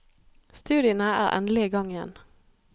Studiene er endelig i gang igjen.